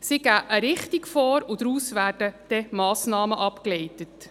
Sie geben eine Richtung vor, und daraus werden dann Massnahmen abgeleitet.